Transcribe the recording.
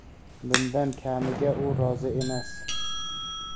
Bundan kamiga u rozi emas.